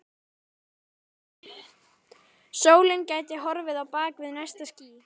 Sólin gæti horfið á bak við næsta ský.